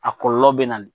A kɔlɔlɔ bɛ na ni